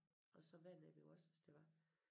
Og så være nede ved os hvis det var